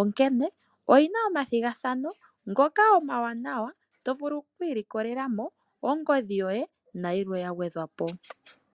onkene oyina omathigathano ngoka omawanawa tovulu oku ilikolela mo ongodhi yoye nayilwe ya gwedhwa po.